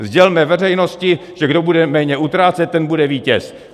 Sdělme veřejnosti, že kdo bude méně utrácet, ten bude vítěz.